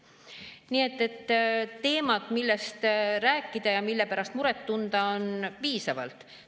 Nii et teemat, millest rääkida ja mille pärast muret tunda, on piisavalt.